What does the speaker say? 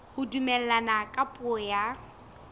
ho dumellana ka puo ya